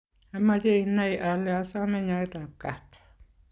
ameche inai ale asome nyoetab kaat